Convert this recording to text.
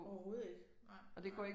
Overhovedet ikke nej nej